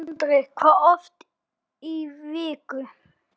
Sindri: Hvað oft í viku?